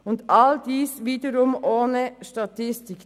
Und all dies wiederum ohne Statistik.